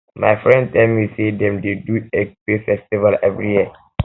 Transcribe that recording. my friend tell me sey dem dey do di ekpe festival every year